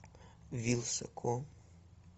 вилсаком